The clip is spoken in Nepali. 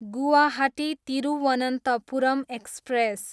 गुवाहाटी, तिरुवनन्तपुरम एक्सप्रेस